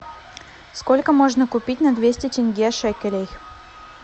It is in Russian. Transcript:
сколько можно купить на двести тенге шекелей